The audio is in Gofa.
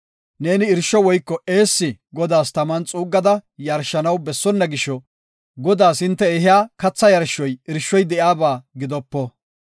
Neeni irsho woyko eessi Godaas taman xuuggada yarshanaw bessonna gisho Godaas hinte ehiya katha yarshoy irshoy de7iyaba gidopo.